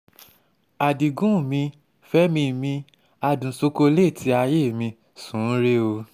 adigun mi fẹmi mi adùn ṣokoléètì ayé mi sún un rẹ́ o